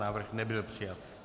Návrh nebyl přijat.